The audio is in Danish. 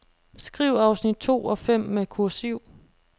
Skriv afsnit to og fem med kursiv.